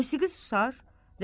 Musiqi susar.